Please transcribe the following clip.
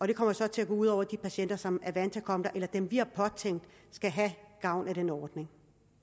det kommer så til at gå ud over de patienter som er vant til at komme der eller dem vi har påtænkt skal have gavn af den ordning